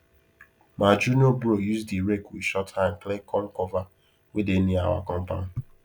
ma junior bro use the rake with short hand clear corn cover wey dey near our compound